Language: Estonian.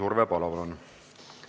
Urve Palo, palun!